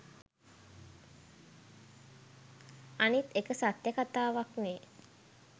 අනිත් එක සත්‍ය කතාවක්නේ